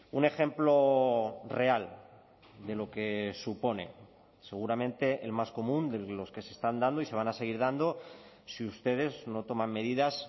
un ejemplo real de lo que supone seguramente el más común de los que se están dando y se van a seguir dando si ustedes no toman medidas